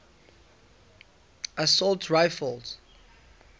assault rifles